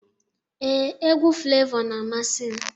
Ee, egwu Flevọ na-amasị m.